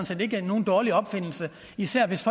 set ikke er nogen dårlig opfindelse især hvis